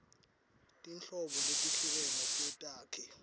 tinhlobo letehlukene tetakhi